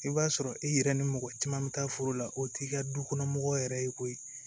I b'a sɔrɔ e yɛrɛ ni mɔgɔ caman bɛ taa foro la o t'i ka du kɔnɔ mɔgɔ yɛrɛ ye koyi